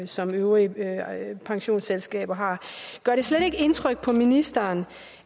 som øvrige pensionsselskaber har gør det slet ikke indtryk på ministeren